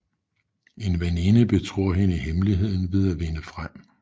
En veninde betror hende hemmeligheden ved at vinde frem